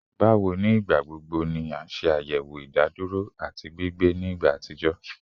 Bawo ni igbagbogbo ni a ṣayẹwo idaduro ati gbigbe ni igba atijọ?